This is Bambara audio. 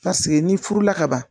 Paseke n'i furula kaban